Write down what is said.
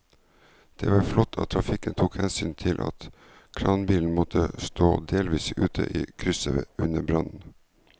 Det var flott at trafikken tok hensyn til at kranbilen måtte stå delvis ute i krysset under brannen.